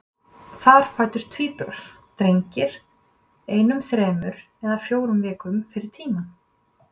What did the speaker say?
Þar fæddust tvíburar, drengir, einum þremur eða fjórum vikum fyrir tímann.